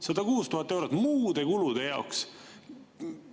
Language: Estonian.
106 000 eurot muude kulude jaoks!